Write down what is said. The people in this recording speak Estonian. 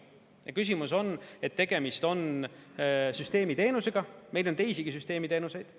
Ja küsimus on, et tegemist on süsteemiteenusega, meil on teisigi süsteemiteenuseid.